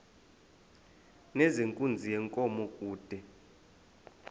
nezenkunzi yenkomo kude